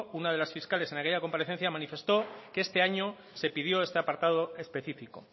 una de las fiscales en aquella comparecencia manifestó que este año se pidió este apartado específico